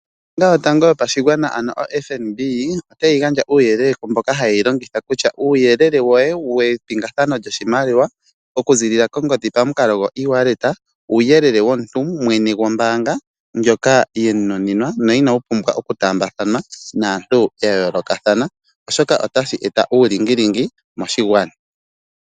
Oombanga yotango yopa shigwana ano oFNB otayi gandja uuyelele kumboka hayeyi longitha kutya uuyelele woye wepingathano lyoshimaliwa okuziilila kongodhi pamukalo gwo ewallet uuyelele womuntu mwene wombaanga mboka we mu nunimwa no inawu pumbwa okutaambathanwa oshoka otawu eta uulingilingi moshigwana.